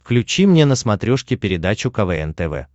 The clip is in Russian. включи мне на смотрешке передачу квн тв